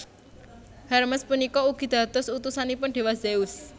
Hermes punika ugi dados utusanipun déwa Zeus